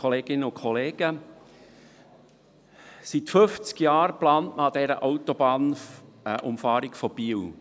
Seit fünfzig Jahren plant man an dieser Autobahnumfahrung von Biel.